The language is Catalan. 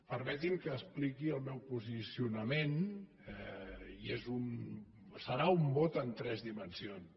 permetin me que expliqui el meu posicionament i serà un vot en tres dimensions